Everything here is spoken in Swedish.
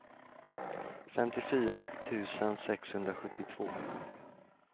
femtiofyra tusen sexhundrasjuttiotvå